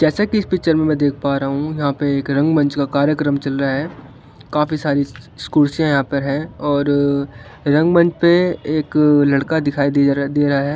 जैसे कि इस पिक्चर में देख पा रहा हूं यहाँ पे एक रंग मंच का कार्यक्रम चल रहा है मी काफी सारी स कुर्सियां यहाँ पर है और अ रंगमंच पे एक अ लड़का दिखाई दे रा दे रहा है।